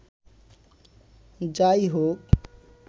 যাই হউক